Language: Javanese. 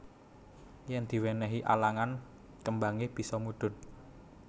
Yen diwenehi alangan kembange bisa mudhun